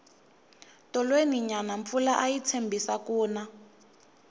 tolweni nyana mpfula ayi tshembisi ku na